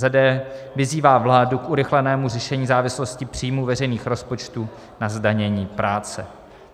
d. vyzývá vládu k urychlenému řešení závislosti příjmů veřejných rozpočtů na zdanění práce."